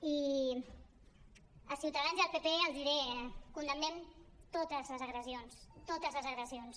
i a ciutadans i al pp els diré condemnem totes les agressions totes les agressions